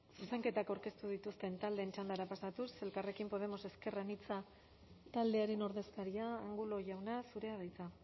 zuzenketak aurkeztu dituzten taldeen txandara pasatuz elkarrekin podemos ezker anitza taldearen ordezkaria angulo jauna zurea da hitza